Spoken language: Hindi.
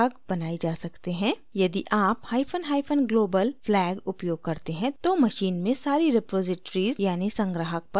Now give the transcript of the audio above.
यदि आप hyphen hyphen global flag उपयोग करते हैं तो machine में सारी रिपॉज़िटरीज़ यानि संग्राहक पर setting लागू की जाएगी